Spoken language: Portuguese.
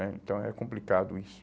né? Então é complicado isso.